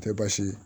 Tɛ baasi ye